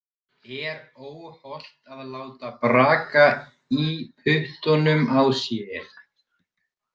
Er óhollt að láta braka í puttunum á sér?